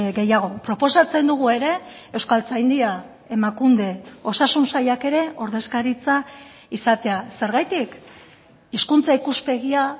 gehiago proposatzen dugu ere euskaltzaindia emakunde osasun sailak ere ordezkaritza izatea zergatik hizkuntza ikuspegia